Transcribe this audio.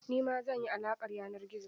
Nima zan yi alaƙar yanar gizo.